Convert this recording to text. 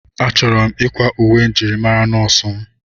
Achọrọ m ịkwa uwe njirimara nọọsụ m.